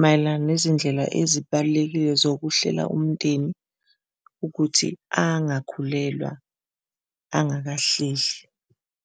mayelana nezindlela ezibalulekile zokuhlela umndeni ukuthi angakhulelwa angakahlehli.